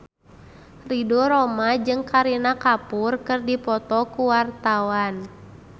Ridho Roma jeung Kareena Kapoor keur dipoto ku wartawan